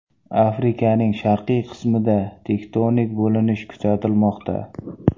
Afrikaning sharqiy qismida tektonik bo‘linish kuzatilmoqda.